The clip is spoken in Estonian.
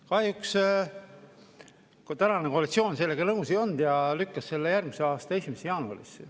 Kahjuks koalitsioon sellega nõus ei olnud ja lükkas selle järgmise aasta 1. jaanuarisse.